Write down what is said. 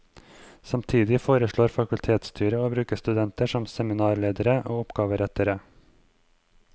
Samtidig foreslår fakultetsstyret å bruke studenter som seminarledere og oppgaverettere.